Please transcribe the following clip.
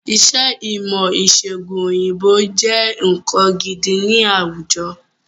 Iṣẹ́ ìmọ̀-ìṣẹ̀gùn òyìnbó jẹ́ nǹkan gidi ni àwùjọ.